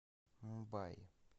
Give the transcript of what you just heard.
мумбаи